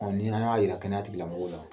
Ɔ ni an y'a jira kɛnɛyatigila mɔgɔw la